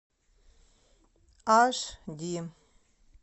аш ди